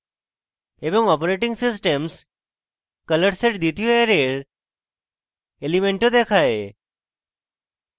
এবং operating _ systems colors এর দ্বিতীয় অ্যারের element of দেখায়